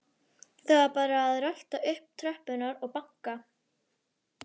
Það var bara að rölta upp tröppurnar og banka.